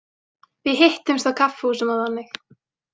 Við hittumst á kaffihúsum og þannig.